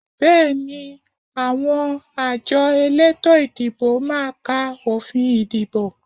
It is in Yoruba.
Bẹ́ẹ̀ni, àwọn àjọ elétò ìdìbò máa ka òfin ìdìbò